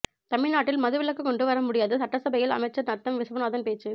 தமிழ்நாட்டில் மதுவிலக்கு கொண்டு வர முடியாது சட்டசபையில் அமைச்சர் நத்தம் விஸ்வநாதன் பேச்சு